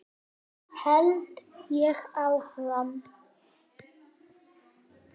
held ég áfram.